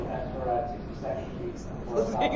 Ela falou, o que é que você estava fazendo